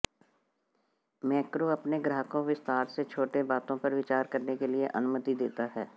macro अपने ग्राहकों विस्तार से छोटे बातों पर विचार करने के लिए अनुमति देता है